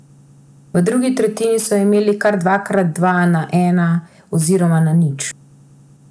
V drugi tretjini so imeli kar dvakrat dva na ena oziroma na nič.